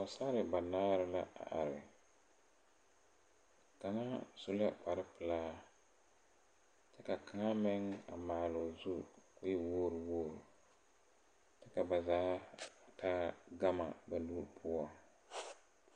Pɔɔsarre banaare la a are kaŋa su la kparepilaa ka kaŋa meŋ maaloo zu ko e wogre wogre ka ba zaa taa gama ba nu poɔ.